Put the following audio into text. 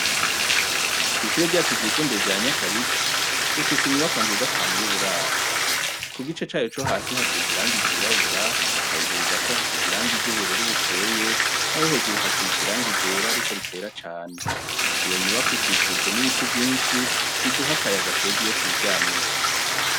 Kw'ishure ryacu ryisumbuye rya Nyakabiga dufise nziza cane yuburaro kugice cayo cohasi hasize irangi ryirabura haruguru Gato hasize ibara ryubururu bukeye nayo hejuru hasize Irangi ryera Ariko ritera cane iyo nyubakwa ikikujwe nibiti vyinshi biduha akayaga iyo twiryamiye.